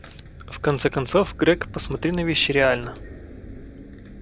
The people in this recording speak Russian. в конце концов грег посмотри на вещи реально